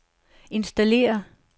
installere